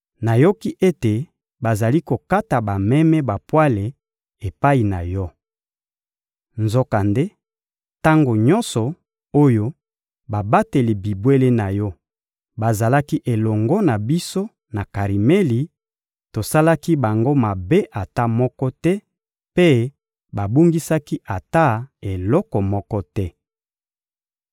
Nayoki ete bazali kokata bameme bapwale epai na yo. Nzokande, tango nyonso oyo babateli bibwele na yo bazalaki elongo na biso na Karimeli, tosalaki bango mabe ata moko te, mpe babungisaki ata eloko moko te.